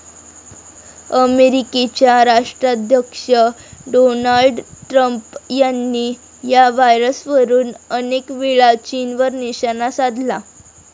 अमेरिकेचे राष्ट्राध्यक्ष Donald Trump यांनी या व्हायरसवरुन अनेकवेळा चीनवर निशाणा साधला.